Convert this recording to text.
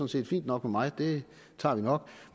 set fint nok for mig det klarer vi nok